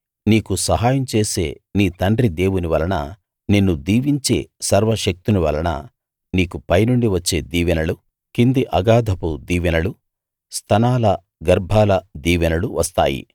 నీకు సహాయం చేసే నీ తండ్రి దేవుని వలన నిన్ను దీవించే సర్వశక్తుని వలన నీకు పైనుండి వచ్చే దీవెనలు కింది అగాధపు దీవెనలు స్తనాల గర్భాల దీవెనలు వస్తాయి